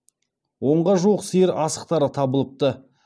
онға жуық сиыр асықтары табылыпты